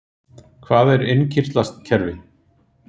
Hvað er innkirtlakerfi?